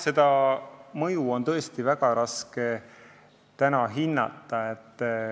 Seda mõju on täna tõesti väga raske hinnata.